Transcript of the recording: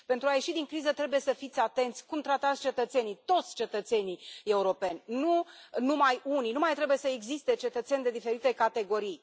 Pentru a ieși din criză trebuie să fiți atenți cum tratați cetățenii, toți cetățenii europeni, nu numai pe unii, nu mai trebuie să existe cetățeni de diferite categorii.